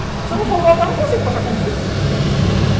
Se eu não for votar, eu não consigo passar no concurso.